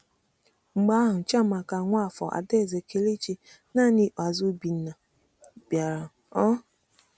Mgbe ahụ, Chiamaka, Nwafor, Adaeze, Kelechi, na n’ikpeazụ Obinna bịara. um